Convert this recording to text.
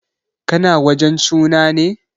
Ka na wajen suna ne?